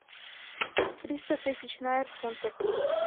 триста тысяч найр в фунтах